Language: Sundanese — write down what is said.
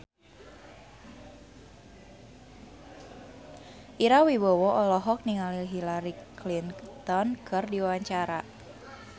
Ira Wibowo olohok ningali Hillary Clinton keur diwawancara